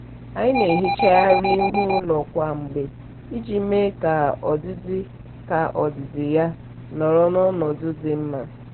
anyị na-ehicha arịa ihu ụlọ kwa mgbe iji mee ka ọdịdị ka ọdịdị ya nọrọ n'ọnọdụ dị mma.